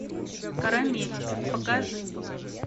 карамель покажи